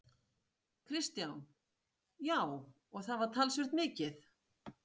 Kristján: Já, og það var talsvert mikið?